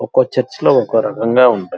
చేర్చ లు ఒక రకంగా ఉంటాయి.